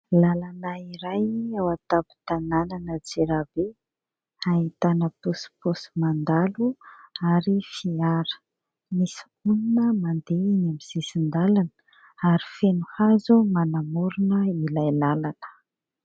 Lalana iray ao an-tampon-tanànan'Antsirabe ahitana posiposy mandalo ary fiara. Misy olona mandeha eny amin'ny sisin-dalana ary feno hazo manamorona ilay lalana.